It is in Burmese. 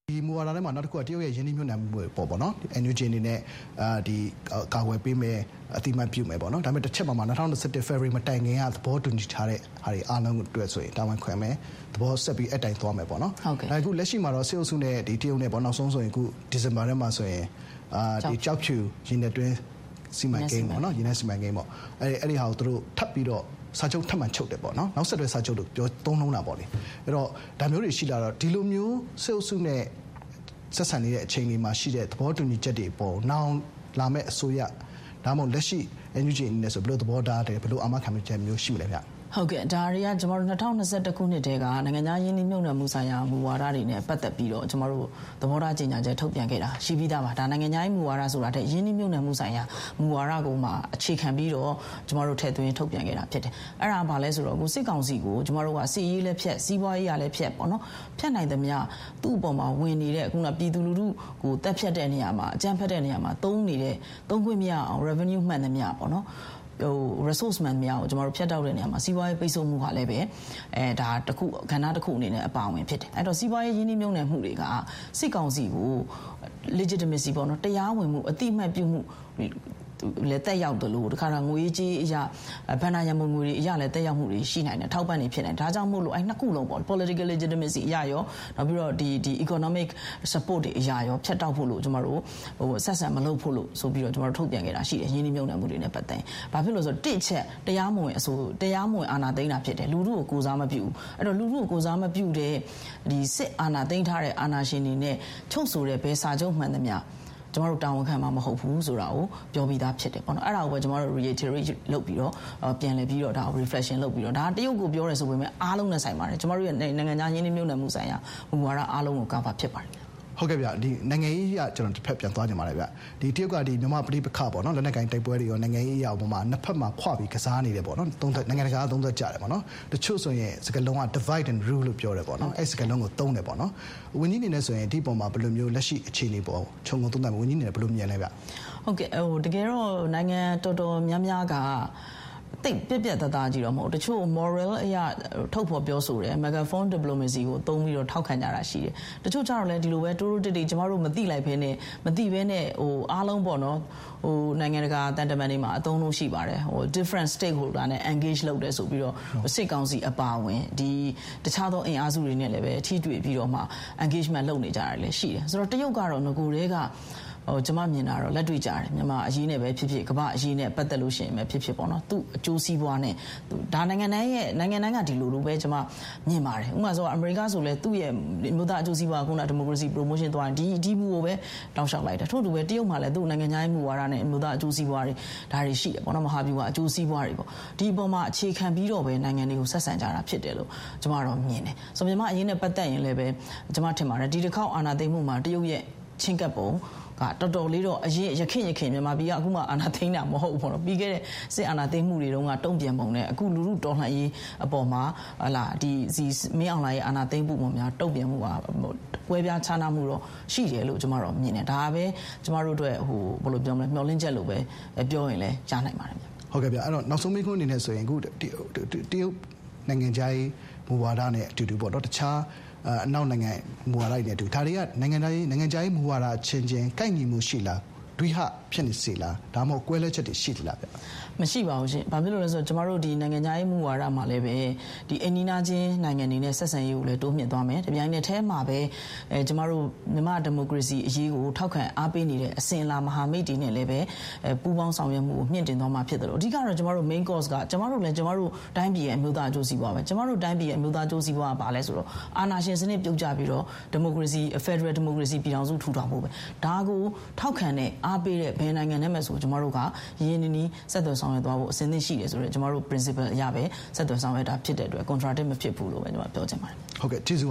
ဒီမူဝါဒထဲမှာ နောက်တခုက တရုတ်ရဲ့ရင်းနှီးမြှုပ်နှံမှုတွေအပေါ် NUG အနေနဲ့ ကာကွယ်ပေးမယ်၊ အသိအမှတ်ပြုမယ်ပေါ့နော်။ ဒါပေမဲ့ တချက်မှာ - ၂၀၂၁ ဖေဖော်ဝါရီမတိုင်ခင်က သဘောတူညီထားတဲ့ဟာတွေအားလုံးအတွက်ဆိုရင် တာဝန်ခံမယ်၊ အဲဒီအတိုင်း ဆက်ပြီးသွားမယ်ပေါ့။ လက်ရှိမှာတော့ စစ်အုပ်စုနဲ့ တရုတ်နဲ့ နောက်ဆုံး ဒီဇင်ဘာထဲမှာဆိုရင် ကျောက်ဖြူ ရေနက်စီမံကိန်း၊ အဲဒီဟာကို ထပ်ပြီးတော့ စာချုပ်တယ်ပေါ့နော်။ "နောက်ဆက်တွဲစာချုပ်" လို့ သုံးနှုန်းတာပေါ့လေ။ ဒီလိုမျိုး စစ်အုပ်စုနဲ့ ဆက်ဆံနေတဲ့အခြေအနေမှာရှိတဲ့ သဘောတူညီချက်တွေအပေါ် နောင်လာမယ့်အစိုးရ၊ ဒါမှမဟုတ် လက်ရှိ NUG အနေနဲ့ ဘယ်လိုသဘောထား၊ ဘယ်လို အာမခံချက်တွေ ရှိလဲဗျ။ ဒေါ်ဇင်မာအောင်။ ။ ဟုတ်ကဲ့၊ ဒါတွေက ၂၀၂၁ ခုနှစ်ကတည်းက နိုင်ငံခြားရင်းနှီးမြှုပ်နှံမှုဆိုင်ရာ မူဝါဒတွေနဲ့ပတ်သက်ပြီးတော့ ကျမတို့ သဘောထားကြေညာချက် ထုတ်ပြန်ခဲ့တာ ရှိပြီးသားပါ။ နိုင်ငံခြားရေးမူဝါဒဆိုတာထက် ရင်းနှီးမြှုပ်နှံမှုဆိုင်ရာ မူဝါဒအပေါ်မှာအခြေခံပြီးတော့ ကျမတို့ ထည့်သွင်း ထုတ်ပြန်ခဲ့တာဖြစ်တယ်။ အဲဒါ ဘာလဲဆိုတော့ စစ်ကောင်စီကို ကျမတို့က စစ်ရေးလည်းဖြတ်၊ စီးပွါးရေးရာလည်းဖြတ်ပြီးတော့ ဖြတ်နိုင်သမျှ သူ့အပေါ်မှာဝင်နေတဲ့၊ ပြည်သူလူထုကို သတ်ဖြတ်တဲ့နေရာမှာ အကြမ်းဖက်တဲ့နေရာမှာ သုံးနေတဲ့ သုံးမရအောင် revenue မှန်သမျှ၊ resource မှန်သမျှကို ဖြတ်တောက်တဲ့နေရာမှာ စီးပွားရေးပိတ်ဆို့ဟာလည်းပဲ ကဏ္ဍတခုအနေနဲ့အပါအဝင်ဖြစ်တယ်။ အဲဒီတော့ စီးပွားရေး ရင်းနှီးမြှုပ်နှံမှုတွေက စစ်ကောင်စီကို legitimacy တရားဝင်မှု၊ အသိအမှတ်ပြုမှုလည်းသက်ရောက်တယ်၊ တခါတရံမှာ ငွေရေးကြေးရေးအရ ဘဏ္ဍာရံပုံငွေတွေအရလည်း သက်ရောက်မှုတွေ ရှိနိုင်တယ်၊ အထောက်အပံ့တွေ ဖြစ်နိုင်တယ်။ ဒါကြောင့်မို့လို့ အဲဒီ နှစ်ခုလုံးပေါ့။ political legitimacy အရရော၊ နောက်ပြီးတော့ economic supports တွေအရရော ဖြတ်တောက်မှုတွေ၊ အဆက်အဆံမလုပ်ဖို့ လို့ ဆိုပြီးတော့ ထုတ်ပြန်ခဲ့တာရှိတယ်။ ရင်းနှီးမြှုပ်နှံမှုတွေနဲ့ပတ်သက်ရင် တစ် အချက် တရားမဝင်အစိုးရက တရားမဝင်အာဏာသိမ်း တာဖြစ်တယ်၊ လူထုကို ကိုယ်စားမပြုဘူး၊ အဲဒီတော့ လူထုကို ကိုယ်စားမပြုတဲ့ စစ်အာဏာသိမ်းထားတဲ့ အာဏာရှင်တွေနဲ့ချုပ်ဆိုတဲ့ ဘယ်စာချုပ်မှန်သမျှ ကျမတို့ တာဝန်ခံမှာမဟုတ်ဘူးဆိုတာကို ပြောပြီးသားဖြစ်တယ်။ အဲဒါကိုပဲ ကျမတို့ ပြန်လည်ပြီးတော့ refreshing လုပ်ပြီးတော့၊ ဒါက တရုတ်ကို ပြောတယ်ဆိုပေမဲ့ အားလုံးနဲ့ဆိုင်ပါတယ်။ ကျမတို့ရဲ့နိုင်ငံခြား ရင်းနှီးမြှုပ်နှံမှုဆိုင်ရာ မူဝါဒအားလုံးကို cover ဖြစ်ပါတယ်။ ငြိမ်းချမ်းအေး။ ။ ဟုတ်ကဲ့ဗျ။ နိုင်ငံရေးအရ ကျနော် တဘက်ပြန်သွားချင်ပါတယ်ဗျ။ တရုတ်က မြန်မာ့ပဋိပက္ခပေါ့နော် - လက်နက်ကိုင်တိုက်ပွဲတွေရော၊ နိုင်ငံရေးအရ ရော နှစ်ဘက်ခွပြီး ကစားနေတယ်ပေါ့နော်၊ နိုင်ငံတကာက သုံးသပ်ကြတယ်ပေါ့နော်။ တချို့ဆိုရင် စကားလုံးက Divide and Rule လို့ ပြောတယ်ပေါ့နော်။ အဲဒီစကားလုံးကို သုံးတယ်ပေါ့နော်။ ဝန်ကြီးအနေနဲ့ဆိုရင် ဒီအပေါ်မှာ ဘယ်လိုမျိုး လက်ရှိအခြေအနေအပေါ်မှာ ဝန်ကြီးအနေနဲ့ ဘယ်လို ခြုံငုံသုံးသပ်မလဲ၊ ဝန်ကြီးအနေနဲ့ ဘယ်လိုမြင်လဲဗျ။ ဒေါ်ဇင်မာအောင်။ ။ ဟုတ်ကဲ့၊ တကယ်တော့ နိုင်ငံတော်တော်များများက သိပ် ပြတ်ပြတ်သားသားကြီးတော့ မဟုတ်ဘူး။ တချို့ Morale အရ ထုတ်ဖော်ပြောဆိုတယ်။ Phone diplomacy ကိုသုံးပြီးတော့ ထောက်ခံကြတာရှိတယ်။ တချို့ကျတော့လည်း ဒီလိုပဲ တိုးတိုးကြိတ်ကြိတ် ကျမတို့ မသိလိုက်ဘဲနဲ့ မသိဘဲနဲ့ အားလုံးပေါ့နော်၊ နိုင်ငံတကာ သံတမန်တွေမှာ အသုံးအနှုန်းရှိပါတယ်။ 'different stakeholder' နဲ့ engage လုပ်တယ်" ဆိုပြီးတော့၊ စစ်ကောင်စီအပါအဝင် တခြားသောအင်အားစုတွေနဲ့လည်းပဲ ထိတွေ့ပြီးတော့မှ engagement လုပ်နေကြတာတွေလည်း ရှိတယ်။ တရုတ်ကတော့ နဂိုကတည်းက ကျမမြင်တာတော့ လက်တွေ့ကျတယ်။ မြန်မာ့အရေးနဲ့ပဲဖြစ်ဖြစ်၊ ကမ္ဘာ့အရေးနဲ့ပတ်သက်လို့ပဲဖြစ်ဖြစ်ပေါ့။ သူ့အကျိုးစီးပွားနဲ့၊ ဒါက နိုင်ငံတိုင်းက ဒီလိုပဲလို့ ကျမ မြင်ပါတယ်။ ဥပမာဆိုပါတော့- အမေရိကားဆိုလည်း သူ့ရဲ့အမျိုးသားအကျိုးစီးပွား- ဒီမိုကရေစီ ပရိုမိုးရှင်း ကို သွားတယ်။ ဒီမူကိုပဲ တောက်လျှောက်လိုက်တာ။ ထို့အတူပဲ တရုတ်မှာလည်း သူ့နိုင်ငံခြားရေးမူဝါဒနဲ့ အမျိုးသားအကျိုးစီးပွါး၊ ဒါတွေ ရှိတယ်ပေါ့နော်။ မဟာဗျူဟာ အကျိုးစီးပွါးတွေပေါ့။ ဒီအပေါ်မှာအခြေခံပြီးတော့ပဲ နိုင်ငံတွေကို ဆက်ဆံကြတာဖြစ်တယ်လို့ ကျမကတော့ မြင်တယ်။ မြန်မာ့အရေးနဲ့ပတ်သက်ရင်လည်းပဲ ကျမထင်ပါတယ်။ ဒီတခေါက်အာဏာသိမ်းမှုမှာ တရုတ်ရဲ့ချဥ်းကပ်ပုံက ယခင့်ယခင် မြန်မာပြည်က၊ အခုမှ အာဏာသိမ်းတာ မဟုတ်ဘူးပေါ့နော်။ ပြီးခဲ့တဲ့ စစ်အာဏာသိမ်းမှုတွေတုန်းက တုံ့ပြန်ပုံနဲ့ အခု လူထုတော်လှန်ရေးအပေါ်မှာ မင်းအောင်လှိုင်ရဲ့အာဏာသိမ်းမှုအပေါ်မှာ တုံ့ပြန်မှုက ကွဲပြားခြားနားမှုတော့ ရှိတယ်လို့ ကျမ မြင်တယ်။ ဒါပဲ ကျမတို့အတွက် မျှော်လင့်ချက်လို့ပဲ ပြောရင်လည်း ရနိုင်ပါတယ်။ ငြိမ်းချမ်းအေး။ ။ ဟုတ်ကဲ့ဗျ။ နောက်ဆုံးမေးခွန်းအနေနဲ့ဆိုရင် တရုတ်နိုင်ငံခြားရေးမူဝါဒနဲ့အတူတူ၊ တခြား အနောက်နိုင်ငံတွေက မူဝါဒတွေနဲ့အတူတူ ဒါတွေက နိုင်ငံခြားရေးမူဝါဒအချင်းချင်း ကိုက်ညီမှုရှိလား။ ဒွိဟဖြစ်စေလား။ ဒါမှမဟုတ် ကွဲလွဲချက်တွေ ရှိနေလား။ ဒေါ်ဇင်မာအောင်။ ။ မရှိပါဘူးရှင့်။ ဘာဖြစ်လို့လဲဆိုတော့ ကျမတို့ နိုင်ငံခြားရေးမူဝါဒမှာလည်းပဲ အိမ်နီးနားချင်းနိုင်ငံတွေနဲ့ဆက်ဆံရေးကိုလည်း တိုးမြှင့်သွားမယ်။ တပြိုင်နက်တည်းမှာပဲ ကျမတို့ မြန်မာ့ဒီမိုကရေစီအရေးကို ထောက်ခံအားပေးနေတဲ့အစဥ်အလာ မဟာမိတ်တွေနဲ့လည်းပဲ ပူးပေါင်းဆောင်ရွက်မှုကို မြှင့်တင်သွားမှာဖြစ်သလို၊ အဓိကကတော့ ကျမတို့ main course က ကျမတို့လည်း ကျမတို့တိုင်းပြည်ရဲ့ အမျိုးသားအကျိုးစီးပွားပဲ။ ကျမတို့တိုင်းပြည်ရဲ့ အမျိုးသားအကျိုးစီးပွားက ဘာလဲဆိုတော့ အာဏာရှင်စနစ်ပြုတ်ကျပြီးတော့ ဒီမိုကရေစီ..ဖက်ဒရယ် ဒီမိုကရေစီပြည်ထောင်စုထူထောင်ဖို့ပဲ။ ဒါကို ထောက်ခံတဲ့၊ အားပေးတဲ့ ဘယ်နိုင်ငံနဲ့မဆို ကျမတို့က ရင်းရင်းနှီးနှီးဆက်သွယ်ဆောင်ရွက်သွားဖို့ အဆင်သင့်ရှိတယ်ဆိုတာကို ကျမတို့ principle အရပဲ ဆက်သွယ်ဆောင်ရွက်တာဖြစ်တဲ့အတွက် contradict မဖြစ်ဘူးလို့ပဲ ကျမ ပြောချင်ပါတယ်။ ငြိမ်းချမ်းအေး။ ။ ဟုတ်ကဲ့၊ ကျေးဇူး